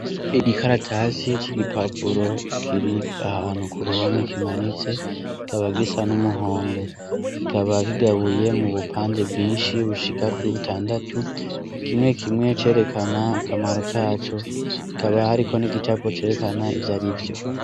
Igikaratasi c'igipapuro kiri ahantu ku ruhome kimanitse, kikaba gisa n'umuhondo, kikaba kigabuye mu bupande bwinshi bushika kuri butandatu, kimwe kimwe cerekana akamaro kaco, hakaba hariko n'igicapo cerekana ivyari vyo.